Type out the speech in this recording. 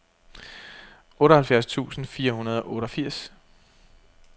otteoghalvfjerds tusind fire hundrede og otteogfirs